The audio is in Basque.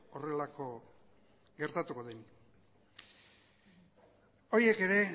horrelako gertatuko denik horiek ere